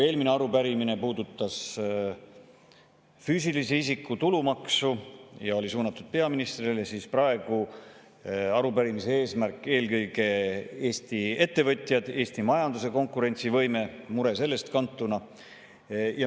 Eelmine arupärimine puudutas füüsilise isiku tulumaksu ja oli suunatud peaministrile, aga praeguse arupärimise teema on seotud eelkõige Eesti ettevõtjate, Eesti majanduse konkurentsivõime ja sellest kantud murega.